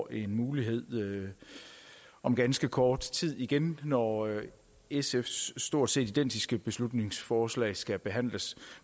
en mulighed om ganske kort tid igen når sfs stort set identiske beslutningsforslag skal behandles